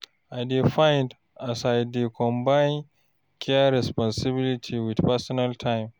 I dey find as I go dey combine care responsibilities wit personal time.